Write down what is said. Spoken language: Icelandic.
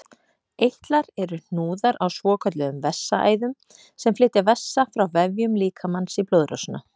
Eitlar eru hnúðar á svokölluðum vessaæðum sem flytja vessa frá vefjum líkamans í blóðrásina.